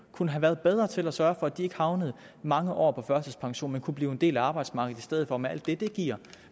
kunne have været bedre til at sørge for at de ikke havnede i mange år på førtidspension men kunne blive en del af arbejdsmarkedet i stedet for med alt det det giver